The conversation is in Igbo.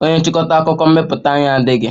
Onye nchịkọta akụkọ mmepụta anyị adịghị.